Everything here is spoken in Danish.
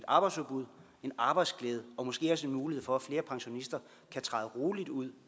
arbejdsudbud en arbejdsglæde og måske også en mulighed for at flere pensionister kan træde roligt ud